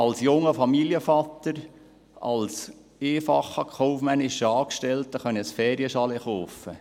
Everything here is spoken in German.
Als junger Familienvater, als einfacher kaufmännischer Angestellter konnte ich ein Ferienchalet kaufen.